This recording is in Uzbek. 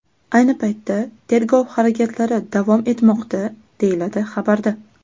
Ayni paytda tergov harakatlari davom etmoqda, deyiladi xabarda.